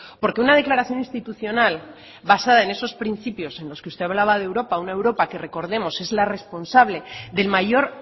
porque una declaración institucional basada en esos principios en los que usted hablaba de europa una europa que recordemos que es la responsable del mayor